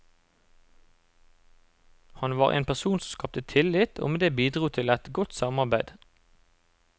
Han var en person som skapte tillit og med det bidro til et godt samarbeid.